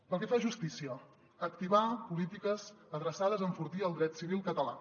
pel que fa a justícia activar polítiques adreçades a enfortir el dret civil català